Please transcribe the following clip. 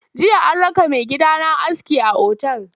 Jiya an raka maigidana aski a otal.